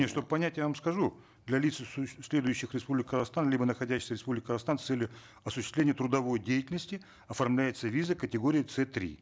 нет чтобы понять я вам скажу для лиц следующих в республику казахстан либо находящихся в республике казахстан с целью осуществления трудовой деятельности оформляется виза категории ц три